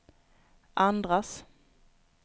andras